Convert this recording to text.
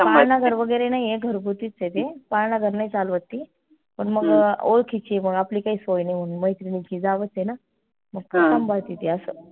घर वगैरे नाई आहे घरघुतीच आहे ते पाळणाघर नाई चालवत ती पण ओळखीची मग आपली काई सोय नाई म्हणून मैत्रिणीची जावंच आय ना ती आस